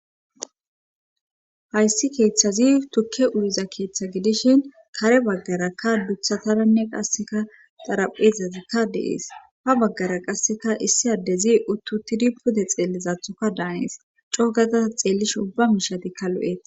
hayssi keethazi tukke uyiza keetha gidishin kare baggarakka duthataranne qassika xarapheezatikka de7ees;ha baggara qassika issi addezi utti uttidi pude xeellizatokka daanes;co gada ta xeellishin ubba miishshatikka lo7ees.